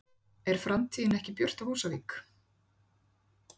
Er framtíðin ekki björt á Húsavík?